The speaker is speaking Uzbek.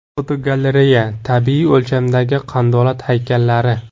Fotogalereya: Tabiiy o‘lchamdagi qandolat haykallari.